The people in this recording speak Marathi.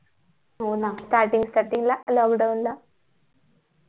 हो ना starting starting ला lockdown ला